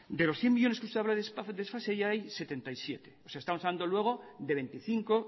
de los cien millónes que usted habla de desfase ya hay setenta y siete o sea estamos hablando luego de veinticinco